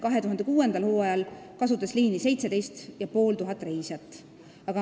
2006. a hooajal kasutas liini 17,5 tuhat reisijat.